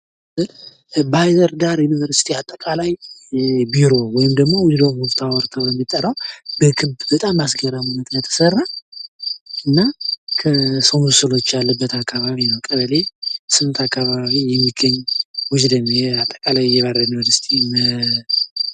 ባህርዳር ዩኒቨርስቲ አጠቃላይ የቢሮ ወይም ደግሞ ዊዝደም ታወር ተብሎ የሚጠራ በጣም አስገራሚ ሁና የተሰራ እና የሰው ምስሎች ካለበት አካባቢ ነው። ቀበሌ ስምንት አካባቢ የሚገኝ ዊዝደም አጠቀላይ የባህርዳር ዩኒቨርስቲ